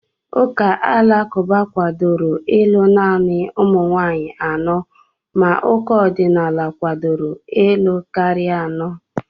Ụka alakụba kwadoro ịlụ naanị ụmụ nwaanyị anọ ma ụka ọdịnala kwadoro ịlụ karịa anọ.